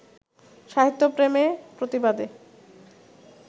সাহিত্যে প্রেমে-প্রতিবাদে